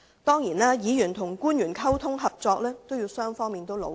當然，議員與官員的溝通和合作，要靠雙方努力。